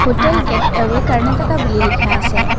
Hotel gateway Karnataka বুলি লিখা আছে।